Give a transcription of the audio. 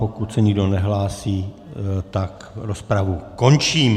Pokud se nikdo nehlásí, tak rozpravu končím.